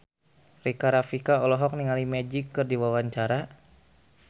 Rika Rafika olohok ningali Magic keur diwawancara